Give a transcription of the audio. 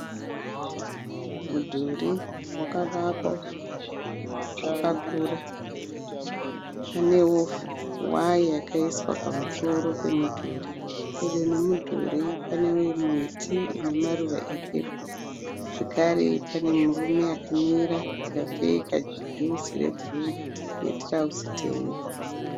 Mudhuri wakavakwa wakakura. Panewo waya yakaiswa pamusoro pemudhuri. Pedo nemudhuri pane miti inemaruva epepo zvekare pane murume akamira akapfeka juzi rebhuruu netirauzi tema.